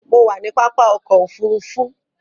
Mo wà ní pápá ọkò òfurufú.